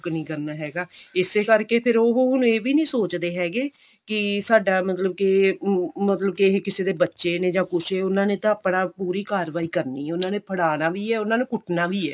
book ਨਹੀਂ ਕਰਨਾ ਹੈਗਾ ਇਸੇ ਕਰਕੇ ਫਿਰ ਉਹ ਹੁਣ ਇਹ ਵੀ ਨਹੀਂ ਸੋਚਦੇ ਹੈਗੇ ਕਿ ਸਾਡਾ ਮਤਲਬ ਕੇ ਮਤਲਬ ਕੇ ਕਿਸੀ ਦੇ ਬੱਚੇ ਨੇ ਜਾਂ ਕੁੱਝ ਉਹਨਾ ਨੇ ਤਾਂ ਆਪਣਾ ਪੂਰੀ ਕਾਰਵਾਈ ਕਰਨੀ ਹੈ ਉਹਨਾ ਨੇ ਫੜਾਨਾ ਵੀ ਹੈ ਉਹਨਾ ਨੇ ਕੁੱਟਨਾ ਵੀ ਹੈ